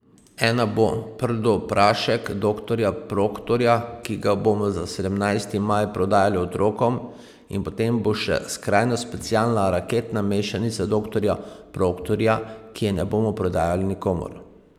Ena bo Prdoprašek Doktorja Proktorja, ki ga bomo za sedemnajsti maj prodajali otrokom In potem bo še Skrajno Specialna Raketna Mešanica Doktorja Proktorja, ki je ne bomo prodajali nikomur.